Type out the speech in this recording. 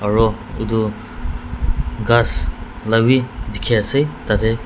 aro edu ghas labi dikhiase tatae--